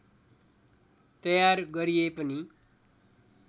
तयार गरिए पनि